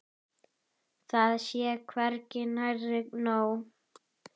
Það sé hvergi nærri nóg.